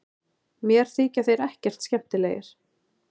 Mér þykja þeir ekkert skemmtilegir